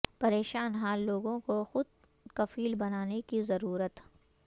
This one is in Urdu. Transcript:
پریشان حال لوگوں کو خود کفیل بنانے کی ضرورت